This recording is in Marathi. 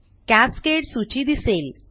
कॅस्केड सूची दिसेल